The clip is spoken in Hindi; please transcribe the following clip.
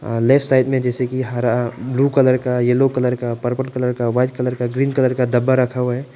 अ लेफ्ट साइड में जैसे कि हरा ब्लू कलर येलो कलर का पर्पल कलर का वाइट कलर का ग्रीन कलर का डब्बा रखा हुआ है।